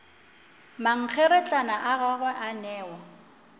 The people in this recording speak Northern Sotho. mankgeretlana a gagwe a newa